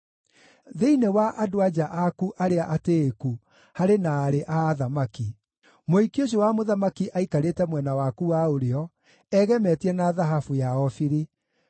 Thĩinĩ wa andũ-a-nja aku arĩa atĩĩku harĩ na aarĩ a athamaki; mũhiki ũcio wa mũthamaki aikarĩte mwena waku wa ũrĩo egemetie na thahabu ya Ofiri.